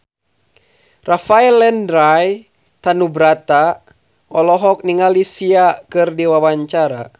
Rafael Landry Tanubrata olohok ningali Sia keur diwawancara